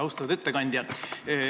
Austatud ettekandja!